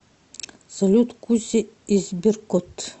салют куся и сберкот